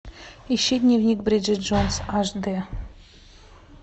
ищи дневник бриджит джонс аш дэ